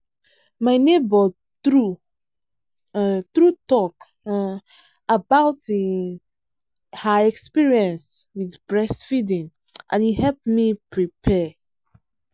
my neighbor true um true talk um about um her experience with breast feeding and e help me prepare.